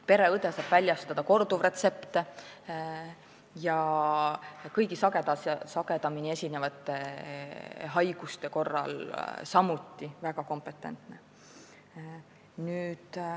Pereõed saavad väljastada korduvretsepte ja on sagedamini esinevate haiguste korral samuti väga kompetentsed.